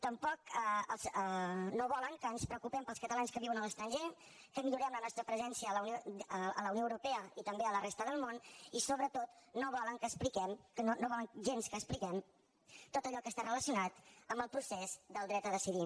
tampoc no volen que ens preocu·pem pels catalans que viuen a l’estranger que millorem la nostra presència a la unió europea i també a la res·ta del món i sobretot no volen gens que expliquem tot allò que està relacionat amb el procés del dret a decidir